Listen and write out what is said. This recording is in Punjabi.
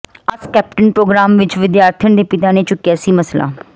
ਆਸਕ ਕੈਪਟਨ ਪ੍ਰੋਗਰਾਮ ਵਿੱਚ ਵਿਦਿਆਰਥਣ ਦੇ ਪਿਤਾ ਨੇ ਚੁੱਕਿਆ ਸੀ ਮਸਲਾ